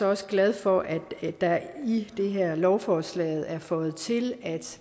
også glad for at der i det her lovforslag er føjet til at